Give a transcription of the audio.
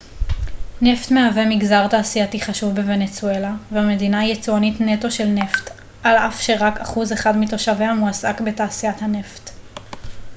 נפט מהווה מגזר תעשייתי חשוב בוונצואלה והמדינה היא יצואנית נטו של נפט על אף שרק אחוז אחד מתושביה מועסק בתעשיית הנפט